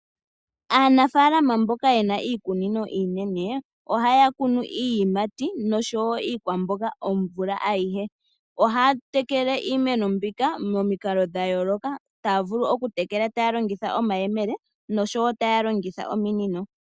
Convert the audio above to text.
Aanafaalama mboka ye na iikunino iinene ohaya kunu iiyimati noshowo iikwamboga omvula ayihe. Ohaya tekele iimeno mbika momikalo dha yooloka. Ohaya vulu okutekela taya longitha omayemele noshowo taya longitha ominino.